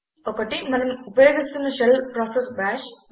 ఒకటి మనం ఉపయోగిస్తున్న షెల్ ప్రాసెస్ బాష్